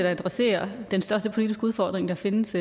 adressere den største politiske udfordring der findes